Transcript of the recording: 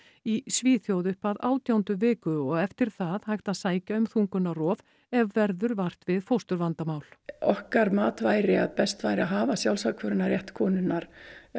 í Svíþjóð upp að átjándu viku og eftir það hægt að sækja um þungunarrof ef verður vart við fósturvandamál okkar mat væri að best væri að hafa sjálfsákvörðunarrétt konunnar